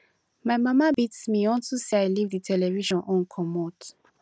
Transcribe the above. my mama beat me unto say i leave the television on comot